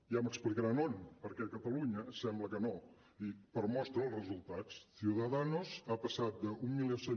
ja m’explicaran on perquè a catalunya sembla que no i per mostra els resultats ciudadanos ha passat d’mil cent